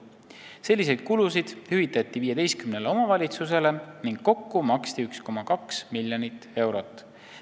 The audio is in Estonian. Selliseid kulusid hüvitati 15 omavalitsusele ning kokku maksti 1,2 miljonit eurot.